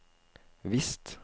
visst